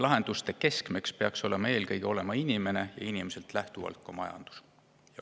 Lahenduste keskmes peaks olema eelkõige inimene ja inimesest lähtuvalt ka majandus.